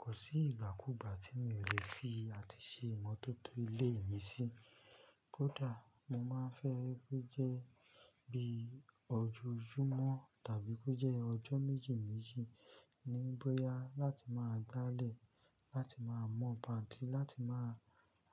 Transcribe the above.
Kò sí ìgbà kú ìgbà tí mi ò lè fi àti ṣe ìmọ́tótó ilé mi sí. Kódà mo máa fẹ́ ẹ ko jẹ́ bí ojoojumọ́ tàbí kó jẹ́ ọjọ́ méjì méjì ní bóyá láti máa gbálẹ̀, láti máa mọ́ pàǹtì, láti máa